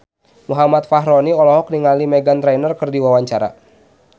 Muhammad Fachroni olohok ningali Meghan Trainor keur diwawancara